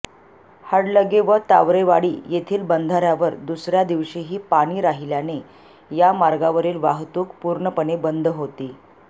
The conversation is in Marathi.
हडलगे व तावरेवाडी येथील बंधाऱयावर दुसऱया दिवशीही पाणी राहिल्याने या मार्गावरील वाहतूक पूर्णपणे बंद होती